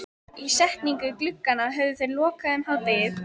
Ísetningu glugganna höfðu þeir lokið um hádegið.